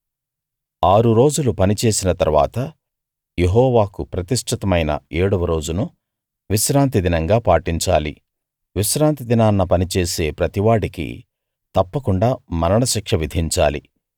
ఆరు రోజులు పని చేసిన తరువాత యెహోవాకు ప్రతిష్ఠితమైన ఏడవ రోజును విశ్రాంతి దినంగా పాటించాలి విశ్రాంతి దినాన పని చేసే ప్రతివాడికీ తప్పకుండా మరణశిక్ష విధించాలి